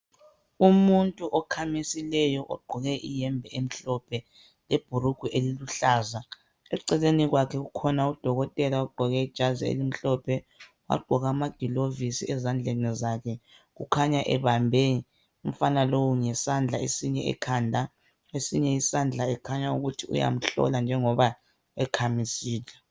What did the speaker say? Umuntu okhamisileyo ogqoke iyembe emhlophe lebhurungwe eliluhlaza eceleni kwakhe kukhona udokotela ogqoke ijazi elimhlophe wagqoka amagilovisi ezandleni zakhe kukhanya ebambe umfana lowu ngesandla esinye ekhanda esinye isandla ekhanya ukuthi uyahlola njengoba ekhamisile